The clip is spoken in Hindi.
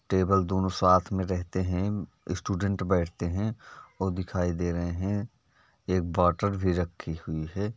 टेबल दोनों साथ में रहते हैंस्टूडेंट बैठते हैं और दिखाई दे रहे हैं। एक बॉटल भी रखी हुई है।